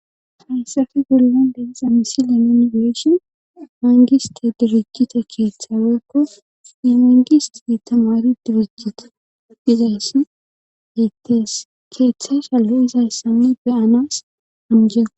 hayssafe gulinan deiza misilia munigeeshon mangista dirikita keeththaweykko imingis iditamari durujita izayssi hetees keeththa shallo izayssanne beyanas hamje